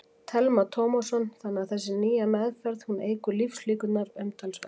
Telma Tómasson: Þannig að þessi nýja meðferð, hún eykur lífslíkurnar umtalsvert?